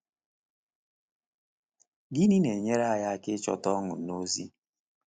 Gịnị na-enyere anyị aka ịchọta ọṅụ n’ozi?